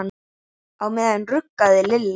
Á meðan ruggaði Lilla